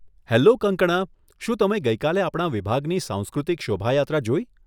Hello, Kangkana, શું તમે ગઈકાલે આપણા વિભાગની સાંસ્કૃતિક શોભાયાત્રા જોઈ?